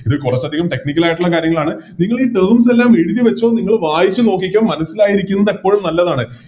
ഇതിൽ കോറച്ചതികം Technical ആയിട്ടുള്ള കാര്യങ്ങളാണ് നിങ്ങളീ Terms എല്ലാം എഴുതി വെച്ചോ മനസ്സിലായിരിക്കുന്നതപ്പോഴും നല്ലതാണ്